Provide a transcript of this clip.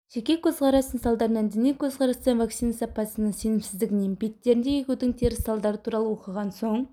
жеке көзқарастың салдарынан діни көзқарастан вакцина сапасына сенімсіздігінен беттерінде егудің теріс салдары туралы оқыған соң